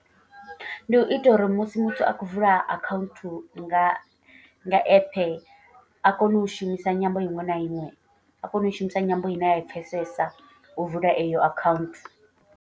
Ndi u ita uri musi muthu a khou vula account nga nga app. A kone u shumisa nyambo iṅwe na iṅwe a kone u i shumisa nyambo ine a i pfesesa u vala eyo account.